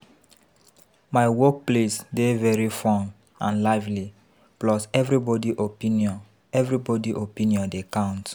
My workplace dey very fun and lively plus everybody opinion everybody opinion dey count